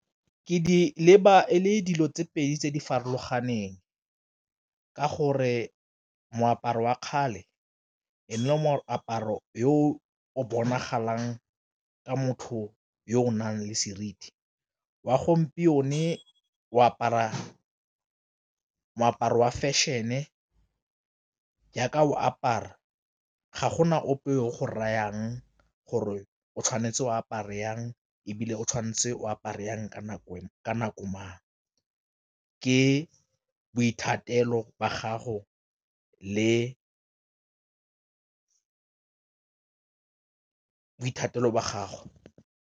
Ke di leba e le dilo tse pedi tse di farologaneng ka gore moaparo wa kgale e ne e le moaparo yo o bonagalang ka motho yo o nang le seriti, wa gompieno o apara moaparo wa fashion-e jaaka o apara ga gona ope yo o go reyang gore o tshwanetse o apara jang ebile o tshwanetse o apara jang ka nako mang ke boithatelo ba gago le boithatelo ba gago.